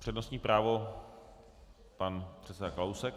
Přednostní právo - pan předseda Kalousek.